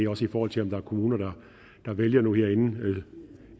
også i forhold til om der er kommuner der vælger nu her inden